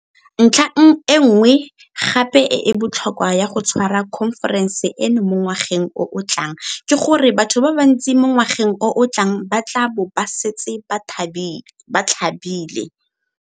Ntlha e nngwe gape e e botlhokwa ya go tshwara khonferense eno mo ngwageng o o tlang ke gore batho ba bantsi mo ngwageng o o tlang ba tla bo ba setse ba tlhabile.